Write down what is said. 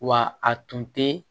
Wa a tun tɛ